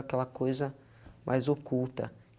Aquela coisa mais oculta.